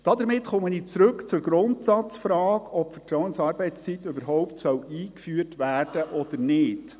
Damit komme ich zurück zur Grundsatzfrage, ob die Vertrauensarbeitszeit überhaupt eingeführt werden soll oder nicht.